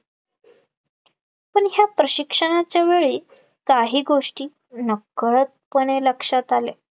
पण या प्रशिक्षणाच्या वेळी काही गोष्टी नकळतपणे लक्षात आले